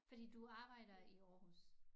Fordi du arbejder i Aarhus